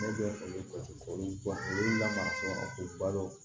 Ne bɛ fali batiri olu la sɔn ko balo